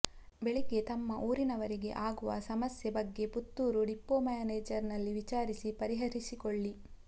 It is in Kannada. ಬೆಳಿಗ್ಗೆ ತಮ್ಮ ಊರಿನವರಿಗೆ ಆಗುವ ಸಮಸ್ಯೆ ಬಗ್ಗೆ ಪುತ್ತೂರು ಡಿಪೋ ಮೇನೆಜರ್ನಲ್ಲಿ ವಿಚಾರಿಸಿ ಪರಿಹರಿಸಿಕೊಳ್ಳಿ